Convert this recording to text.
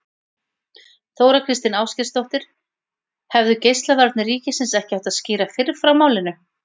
Þóra Kristín Ásgeirsdóttir: Hefðu Geislavarnir ríkisins ekki átt að skýra fyrr frá málinu?